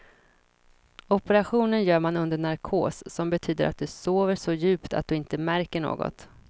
Operationen gör man under narkos, som betyder att du sover så djupt att du inte märker något.